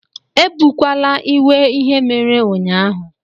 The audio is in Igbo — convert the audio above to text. Ebukwala iwe ihe mere ụnyaahụ